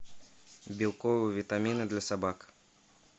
белковые витамины для собак